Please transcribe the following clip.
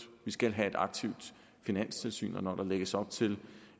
vi skal have et aktivt finanstilsyn og når der lægges op til